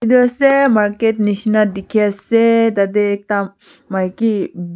etu ase market nishna dekhi ase tate ekta maiki--